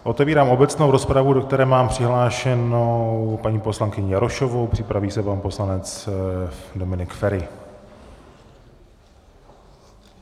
Otevírám obecnou rozpravu, do které mám přihlášenou paní poslankyni Jarošovou, připraví se pan poslanec Dominik Feri.